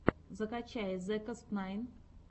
закачай зекостнайн